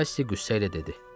Kass qüssəylə dedi.